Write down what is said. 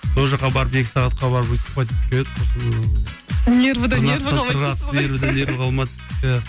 сол жаққа барып екі сағатқа барып выступать етіп келіп еді нервіден нерві қалмады иә